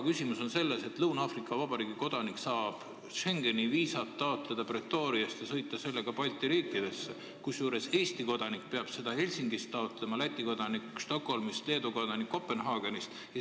Küsimus on selles, et Lõuna-Aafrika Vabariigi kodanik saab Schengeni viisat taotleda Pretoriast ja sõita sellega siis Balti riikidesse, Eesti kodanik peab viisat Lõuna-Aafrika Vabariiki taotlema Helsingist, Läti kodanik Stockholmist ja Leedu kodanik Kopenhaagenist.